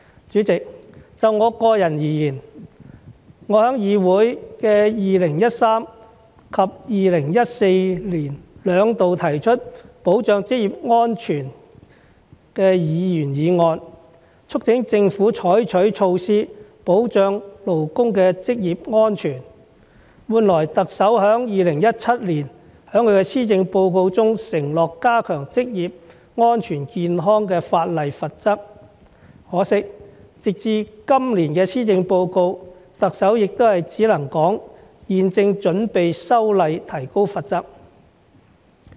主席，就我個人而言，我在議會的2013年及2014年兩度提出保障職業安全的議員議案，促請政府採取措施保障勞工的職業安全，換來特首在2017年在施政報告中承諾加強職業安全健康法例的罰則，可惜直至今年的施政報告，特首也只是說現正準備修例提高罰則。